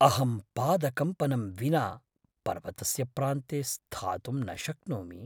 अहं पादकम्पनं विना पर्वतस्य प्रान्ते स्थातुं न शक्नोमि।